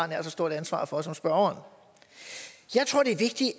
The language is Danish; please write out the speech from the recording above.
nært så stort ansvar for som spørgeren